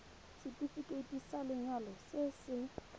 setefikeiti sa lenyalo se se